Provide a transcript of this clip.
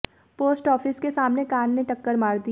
post office के सामने car ने टक्कर मार दी